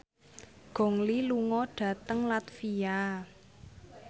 Gong Li lunga dhateng latvia